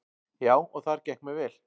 Já, og þar gekk mér vel.